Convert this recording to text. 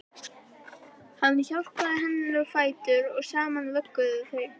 Hann hjálpaði henni á fætur og saman vögguðu þau